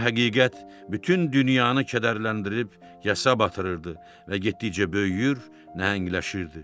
Bu həqiqət bütün dünyanı kədərləndirib yasa batırırdı və getdikcə böyüyür, nəhəngləşirdi.